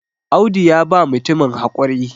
Audu ya ba mutumin haƙuri